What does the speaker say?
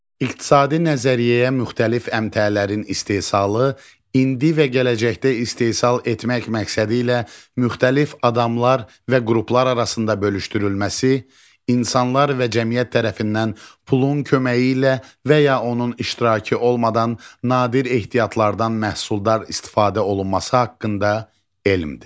İqtisadi nəzəriyyəyə müxtəlif əmtəələrin istehsalı, indi və gələcəkdə istehsal etmək məqsədilə müxtəlif adamlar və qruplar arasında bölüşdürülməsi, insanlar və cəmiyyət tərəfindən pulun köməyi ilə və ya onun iştirakı olmadan nadir ehtiyatlardan məhsuldar istifadə olunması haqqında elmdir.